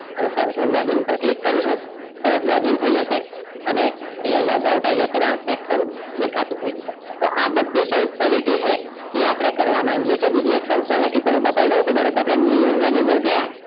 અને પાછું login પર click કરીસું તરત login થઈ જસે અને આઇયાહ logout આય જસે અને આ second દેખાતું થઈ જસે તો આ બધી specility છે એ અપડે કરવા માંગીએ છે બીજી પણ બતાઈ દાવ તો ધારોકે અપડે new version ની અંદર ગયા